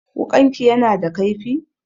Wuƙanki yana da kaifi?